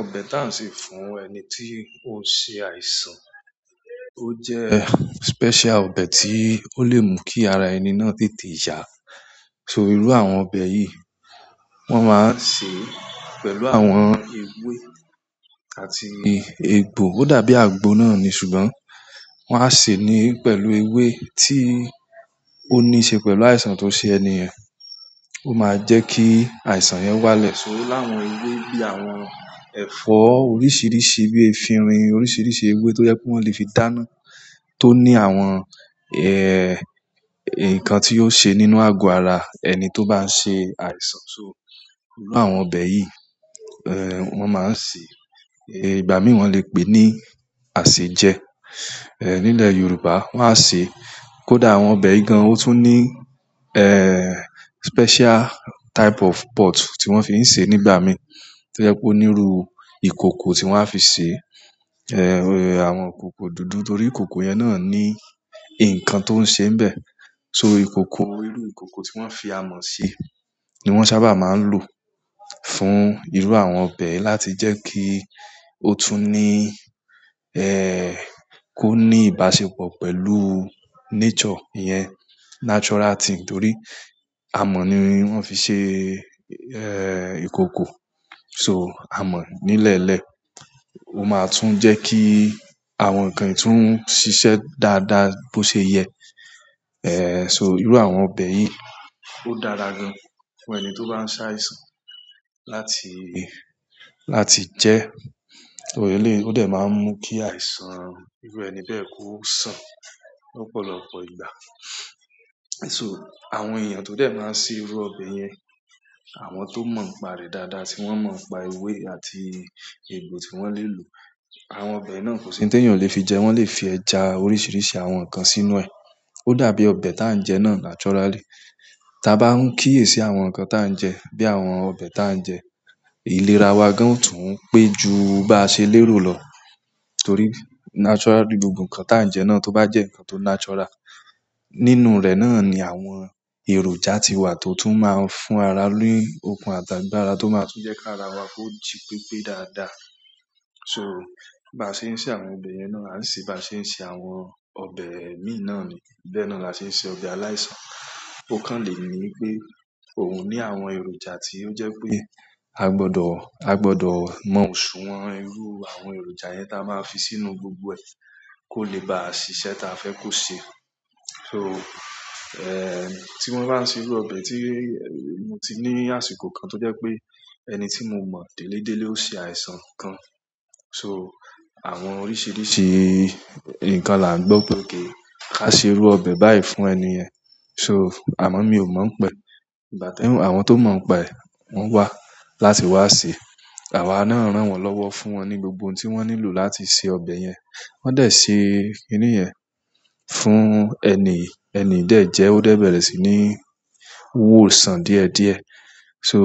Ọbẹ̀ tá ń ṣe fún ẹni tí ó ṣe àìsàn, ó jẹ́ special ọbẹ̀ tí ó lè mú kí ara ẹni náà tètè yá. So irú àwọn ọbẹ̀ yìí, wọ́n máa ń sè pẹ̀lú àwọn ewé àti egbò. Ó dàbí àgbo náà ni ṣùgbọ́n wọ́n á sé ní pẹ̀lú ewé tí ó ní ṣe pẹ̀lú àìsàn tó ṣe ẹni ẹ̀. Ó máa jẹ́ kí àìsàn yẹn wálẹ̀. So o láwọn ewé bí i àwọn ẹ̀fọ́ oríṣìíríṣìí bí i efinrin, oríṣìíríṣìí ewé tó yẹ kó wọn lè fi dáná tó ní àwọn, eh, nǹkan tí yóò ṣe nínú àgọ́ ara ẹni tó bá ń ṣe àìsàn. So irú àwọn ọbẹ̀ yìí, eh, wọ́n máa ń sè é, ìgbà mí wọ́n lè pè ní àsèjẹ, eh, nílẹ̀ Yorùbá wọ́n á sè é. Kódà àwọn ọbẹ̀ yìí gan, ó tún ní, eh, special type of pot tí wọ́n fi ń ṣe nígbà mí tó jẹ́ pé ó níru ìkòkò tí wọ́n á fi sè é, eh, àwọn ikòkò dúdú torí ikòkò yẹn náà ní nǹkan tó ń ṣe níbẹ̀. Torí ikoko, iru ikoko ti won fi amo se ni wan sábà ma n lo fún iru àwọn ọbẹ̀ láti je ki o tu ni ìbáṣepọ̀ pẹ̀lú nature yen torí amo ni won fi se ikoko. So amọ̀ nílẹ̀ nlẹ́, ó máa tún jẹ́ kí àwọn ǹkan yìí tún ṣiṣẹ́ dáadáa bó ṣe yẹ. E, so iru àwọn ọbẹ̀ yi, o dára gan fún ẹni ti o ba n se àìsàn láti je. O dẹ̀ máa ń mú kí àìsàn irú ẹni bẹ́ẹ̀ kó sàn lọ́pọ̀lọpọ̀ ìgbà. So àwọn èèyàn tó dẹ̀ máa ń ṣe irú ọbẹ̀ yẹn, àwọn ti ó mọ nipá rẹ̀ dáadáa tí wọ́n mọ nipá ewé àti egbò tí wọ́n lè lò. Àwọn ọbẹ̀ náà kò sí ntí èèyàn ò le fi jẹ, wọ́n lè fi ẹja, oríṣìíríṣìí àwọn ǹkan sínú ẹ̀. Ó dàbí ọbẹ̀ tá ń jẹ náà naturally. Taa bá ń kíyèsi àwọn ǹkan tá ń jẹ bí àwọn ọbẹ̀ tá ń jẹ, ìlera wa gan o tún ń pé ju bá ṣe lérò lọ torí naturally gbogbo ǹkan tá ń jẹ náà tó bá jẹ́ ǹkan tó natural, nínú rẹ̀ náà ni àwọn èròjà ti wà tó tún máa ń fún ara ni okun àti agbára tó máa tún jẹ́ ki ara wa ko jí pípé dáadáa. So bá ṣe ń ṣe àwọn ọbẹ̀ yẹn náà, à n se bá ṣe ń ṣe àwọn ọbẹ̀ imí náà ni. Bẹ́ẹ̀ náà la ṣe ń ṣe ọbẹ̀ aláìsàn. Ó kàn le ní wipé òun ní àwọn èròjà tí ó jẹ́ pé a gbọdọ̀, a gbọdọ̀ mọ ṣùwọ̀n irú àwọn èròjà yẹn táa má fi sínú gbogbo ẹ̀ kó lè bá ṣiṣẹ́ ti a fẹ́ kó ṣe. So, eh, tí wọ́n bá ń ṣe irú ọbẹ̀ tí mo ti ní àsìkò kan tó jẹ́ pé ẹni tí mo mọ̀ délé délé ó ṣe àìsàn kan. So àwọn oríṣìíríṣìí ǹkan là ń gbọ́ pé ok ka ṣe irú ọbẹ̀ báyìí fún ẹni yẹn. So amọ̀ mi ò mọ̀ pẹ̀. Ìgbà tí àwọn ti ó mọ̀ nípa ẹ̀ wọ́n wá láti wá sè. Àwa náà rán wọn lọ́wọ́ fún wọn ní gbogbo ohun tí wọ́n nílò láti ṣe ọbẹ̀ yẹn. Won de se kini yen fún eniyii, eniyi de je, o de bere sini niwosan díẹ̀ díẹ̀. So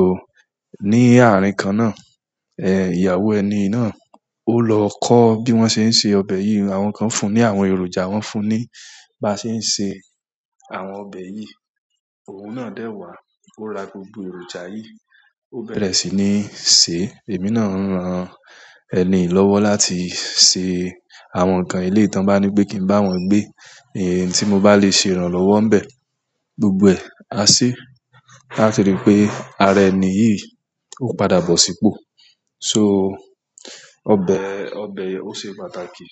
ní àárín kan náà, eh, ìyàwó ẹni yi náà ó lọ kọ́ bí wọ́n ṣe ń ṣe ọbẹ̀ yìí, àwọn kan fún ní àwọn èròjà, wọ́n fún ní bá ṣe ń ṣe àwọn ọbẹ̀ yìí. Òun náà dẹ̀ wá, ó ra gbogbo èròjà yìí, ó bẹ̀rẹ̀ sí ní sè. Èmi náà ń ran ẹniyi lọ́wọ́ láti ṣe àwọn ǹkan eleyi ti won bá ní pé kí n bá wọn gbé, èyí tí mo bá lè ṣe, irán lọ́wọ́ ń bẹ̀ gbogbo ẹ à ṣe. Láti rí pé ara ẹni yìí ó padà bọ̀ sípò. So ọbẹ̀, ọbẹ̀ yẹn ó ṣe pàtàkì.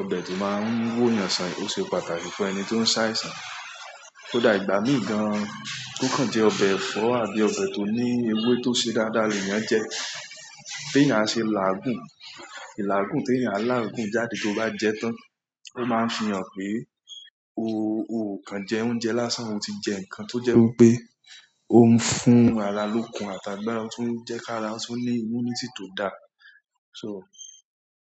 Ọbẹ̀ tí máa ń wò eyan ọsàn, ó ṣe pàtàkì fún ẹni tí ó ń sá àìsàn. Kódà ìgbà mí gan, kokan jẹ́ ọbẹ̀ ẹ̀fọ́ àbí ọbẹ̀ ti ó ní ewé tó ṣe dáadáa nì eyan jẹ. Tí a ṣe làa gún, ilà gún tí èèyàn láàgùn jáde tó bá jẹ tán, ó máa ń fi hàn pé o, o kàn jẹ oúnjẹ lásán, o ti jẹ ǹkan tó jẹ́ wipé ó ń fún ara lókun àti agbára, ó tún ń jẹ́ ká ara ó tún ní immunity tó dá. So.